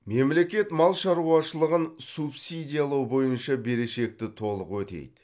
мемлекет мал шаруашылығын субсидиялау бойынша берешекті толық өтейді